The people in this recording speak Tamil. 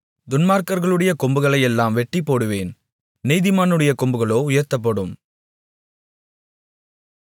துன்மார்க்கர்களுடைய கொம்புகளையெல்லாம் வெட்டிப்போடுவேன் நீதிமானுடைய கொம்புகளோ உயர்த்தப்படும்